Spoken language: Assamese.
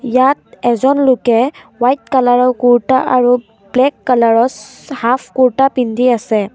ইয়াত এজন লোকে হোৱাইট কালাৰৰ কুৰ্টা আৰু ব্লেক কালাৰৰ চ হাফ কুৰ্টা পিন্ধি আছে।